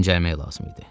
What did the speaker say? Dincəlmək lazım idi.